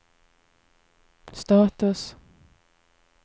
status